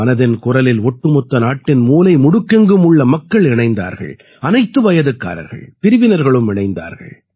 மனதின் குரலில் ஒட்டுமொத்த நாட்டின் மூலை முடுக்கெங்கும் உள்ள மக்கள் இணைந்தார்கள் அனைத்து வயதுக்காரர்கள் பிரிவினர்களும் இணைந்தார்கள்